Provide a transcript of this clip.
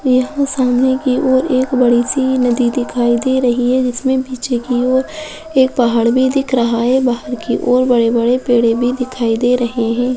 यहाँ सामने की और एक बड़ी सी नदी दिखाई दे रही है जिसमे पीछे की और एक पहाड़ भी दिख रहा है पहाड़ की ओर बड़े बड़े पेड़े भी दिखाई दे रही है।